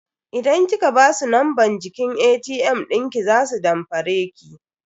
Idan kika basu numban jiki ATM dinki za su damfare ki.